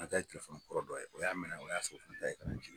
An ta kɛrɛfɛ mɔgɔ dɔ ye o y'a minɛ o y'a sɛbɛkɔrɔ lajɛ k'a di ne ma